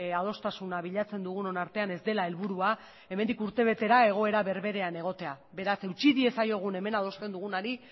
adostasuna bilatzen dugunon artean ez dela helburua hemendik urtebetera egoera berberean egotea beraz eutsi diezaiogun hemen adosten dugunari